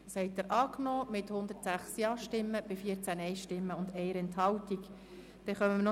Sie haben diesen Antrag der BaK mit 106 Ja- gegen 14 Nein-Stimmen bei 1 Enthaltung angenommen.